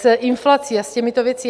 s inflací a s těmito věcmi.